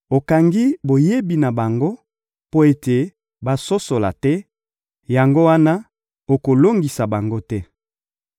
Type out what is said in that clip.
Okangi boyebi na bango mpo ete basosola te; yango wana, okolongisa bango te.